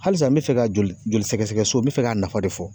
Halisa n mi fɛ ka joli joli sɛgɛsɛgɛso n mi fɛ k'a nafa de fɔ